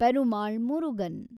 Perumal Murugan